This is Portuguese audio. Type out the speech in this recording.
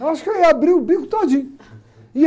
Eu acho que eu ia abrir o bico todinho. Ia...